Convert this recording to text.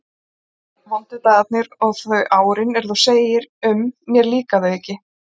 Svo komu vondu dagarnir og þau árin, er þú segir um: mér líka þau ekki.